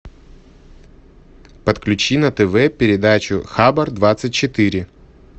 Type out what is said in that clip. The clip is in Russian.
подключи на тв передачу хабар двадцать четыре